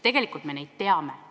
Tegelikult me neid põhjusi teame.